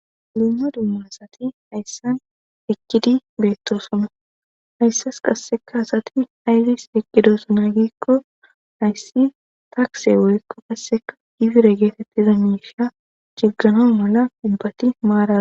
Dumma dummasati hayssan ekkidi beettosoma hayssas qasseka asati ayzis eqqidosonaa gikko hayssi taakse woykko kasseka difire geetetti zonisha jiggano mala dubbati maara.